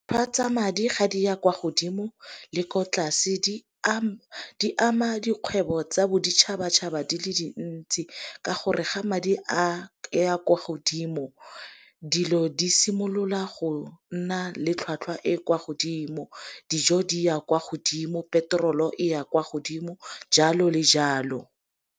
Tlhotlhwa tsa madi ga di ya kwa godimo le ko tlase di ama dikgwebo tsa boditšhabatšhaba di le dintsi. Ka gore ga madi a ya kwa godimo dilo di simolola go nna le tlhwatlhwa e e kwa godimo dijo di ya kwa godimo, peterolo e ya kwa godimo, jalo le jalo.